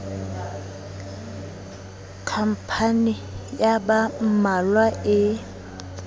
khampani ya ba mmalwa e